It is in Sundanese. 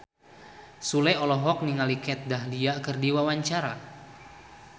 Sule olohok ningali Kat Dahlia keur diwawancara